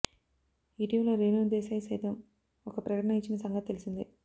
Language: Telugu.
ఇటీవల రేణు దేశాయ్ సైతం ఒక ప్రకటన ఇచ్చిన సంగతి తెలిసిందే